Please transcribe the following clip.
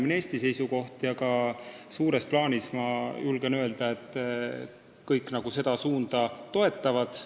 See on ka Eesti seisukoht ja suures plaanis, julgen öelda, kõik seda suunda toetavad.